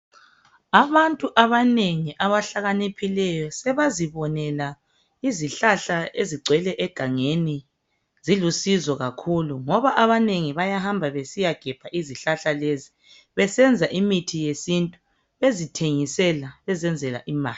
Abantu abanengi abahlakaniphileyo sebazibonela izihlahla ezigcwele egangeni zilusizo kakhulu ngoba abanengi bayahamba besiya gebha izihlahla lezo besenza imithi yesintu bezithengisela bezenzela imali.